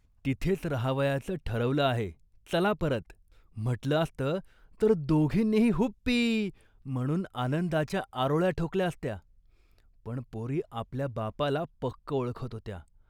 "तिथेच राहावयाचं ठरवलं आहे, चला परत. " म्हटलं असतं तर दोघींनीही 'हुप्पी' म्हणून आनंदाच्या आरोळ्या ठोकल्या असत्या, पण पोरी आपल्या बापाला पक्कं ओळखत होत्या